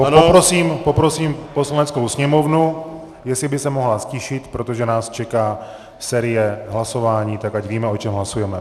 Poprosím Poslaneckou sněmovnu, jestli by se mohla ztišit, protože nás čeká série hlasování, tak ať víme, o čem hlasujeme.